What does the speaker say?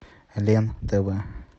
лен тв